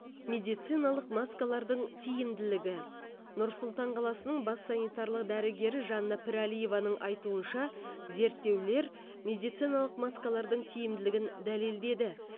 медициналық маскалардың тиімділігі нұр сұлтан қаласының бас санитарлық дәрігері жанна пірәлиеваның айтуынша зерттеулер медициналық маскалардың тиімділігін дәлелдеді